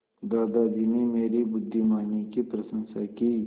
दादाजी ने मेरी बुद्धिमानी की प्रशंसा की